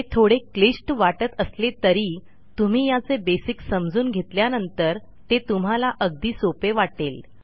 हे थोडे क्लिष्ट वाटत असले तरी तुम्ही याचे बेसिक समजून घेतल्यानंतर ते तुम्हाला अगदी सोपे वाटेल